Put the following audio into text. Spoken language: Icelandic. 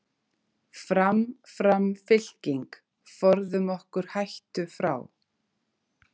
Fram, fram fylking, forðum okkur hættu frá.